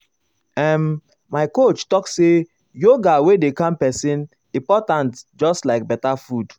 ehm my coach talk say yoga wey dey calm person important just like better food.